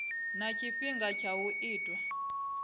na tshifhinga tsha u itwa